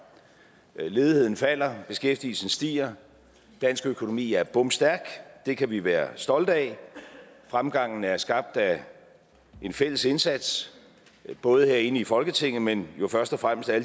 ledigheden falder beskæftigelsen stiger dansk økonomi er bomstærk og det kan vi være stolte af fremgangen er skabt af en fælles indsats både herinde i folketinget men jo først og fremmest af